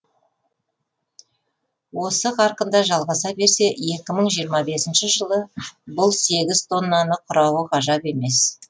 осы қарқында жалғаса берсе екі мың жиырма бесінші жылы бұл сегіз тоннаны құрауы ғажап емес